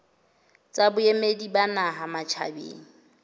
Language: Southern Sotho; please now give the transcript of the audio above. tsa boemedi ba naha matjhabeng